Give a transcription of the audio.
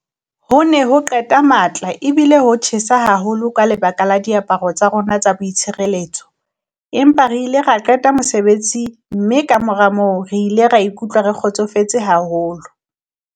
"Ho ne ho qeta matla ebile ho tjhesa haholo ka lebaka la diaparo tsa rona tsa boitshireletso, empa re ile ra o qeta mosebetsi mme kamora moo re ile ra ikutlwa re kgotsofetse haholo."